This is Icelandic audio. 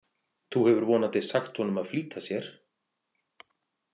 Þú hefur vonandi sagt honum að flýta sér?